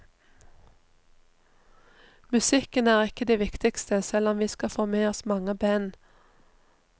Musikken er ikke det viktigste, selv om vi skal få med oss mange band.